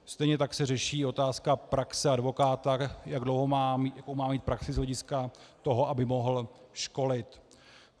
Stejně tak se řeší otázka praxe advokáta, jak dlouhou má mít praxi z hlediska toho, aby mohl školit.